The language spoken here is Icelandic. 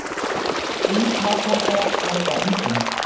Hvíthákarlar gjóta ungum.